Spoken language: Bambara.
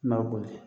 I b'a boli